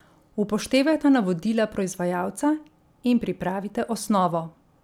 Upoštevajte navodila proizvajalca in pripravite osnovo.